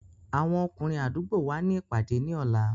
Àwọn ọkùnrin àdúgbò wa ní ìpàdé ní ọ̀la.